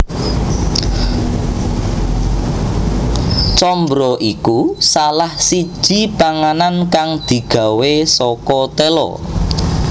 Combro iku salah siji panganan kang digawé saka tela